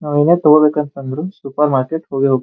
ನಾವು ಏನ ತಗೋ ಬೇಕಂದ್ರು ಸೂಪರ್ ಮಾರ್ಕೆಟ್ ಹೋಗೇ ಹೋ --